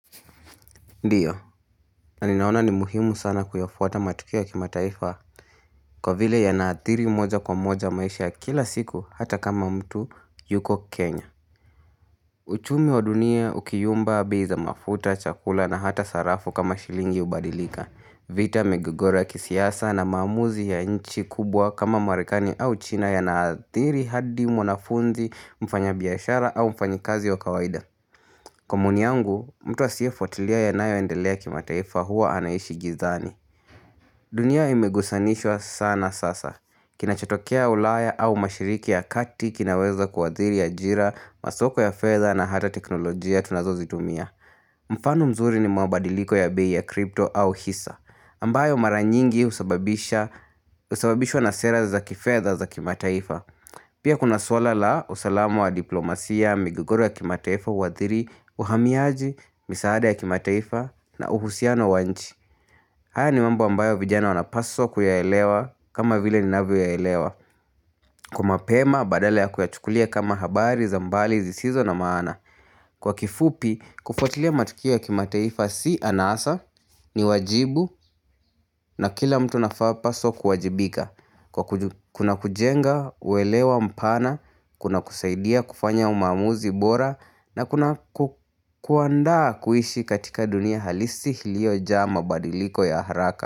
Ndiyo, na ninaona ni muhimu sana kuyafuata matukia kimataifa kwa vile ya naathiri moja kwa moja maisha kila siku hata kama mtu yuko Kenya. Uchumi wa dunia, ukiyumba, bei za mafuta, chakula na hata sarafu kama shilingi ubadilika. Vita migogora ya kisiasa na maamuzi ya nchi kubwa kama merikani au china yanaathiri hadi mwanafunzi mfanyabiashara au mfanyikazi wa kawaida. Kwa maoni yangu, mtu asiye fuatilia yanayoendelea kimataifa huwa anaishi gizani. Dunia imegusanishwa sana sasa. Kinachatokea ulaya au mashariki ya kati kinaweza kuwadhiri ya jira, masoko ya fedha na hata teknolojia tunazo zitumia. Mfano mzuri ni mabadiliko ya bei ya crypto au hisa ambayo mara nyingi husababishwa na sera za kidhefa za kimataifa Pia kuna swala la usalamu wa diplomasia migigoro ya kimataifa huathiri uhamiaji, misaada ya kimataifa na uhusiano wa nchi haya ni mambo ambayo vijana wanapaswa kuyaelewa kama vile ninavyo yaelewa Kwa mapema badala ya kuyachukulia kama habari za mbali zisizo na maana kwa kifupi, kufuatilia matukia kimateifa si anasa, ni wajibu na kila mtu anapaswa kuwajibika. Kuna kujenga, uelewa mpana, kuna kusaidia kufanya maamuzi bora na kuna kuandaa kuishi katika dunia halisi ilioja mabadiliko ya haraka.